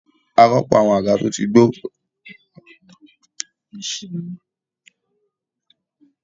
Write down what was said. A rọ́pò àwọn àga tó ti gbó pẹ̀lú àwọn tutun ní ọdún tó kọjá